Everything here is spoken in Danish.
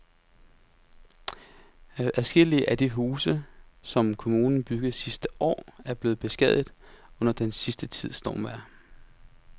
Adskillige af de huse, som kommunen byggede sidste år, er blevet beskadiget under den sidste tids stormvejr.